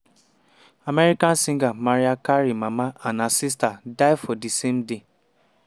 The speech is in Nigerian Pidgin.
american singer mariah carey mama and her sister die for di same day.